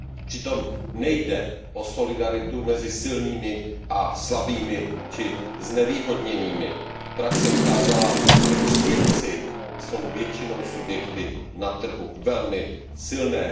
Přitom nejde o solidaritu mezi silnými a slabými či znevýhodněnými. Praxe ukázala, že příjemci jsou většinou subjekty na trhu velmi silné.